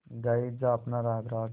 गाये जा अपना राग राग